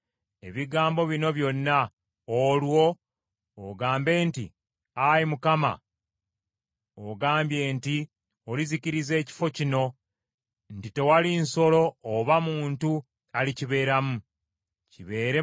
Olwo ogambe nti, ‘Ayi Mukama , ogambye nti olizikiriza ekifo kino, nti tewali nsolo oba muntu alikibeeramu; kibeere matongo emirembe gyonna.’